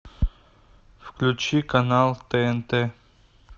включи канал тнт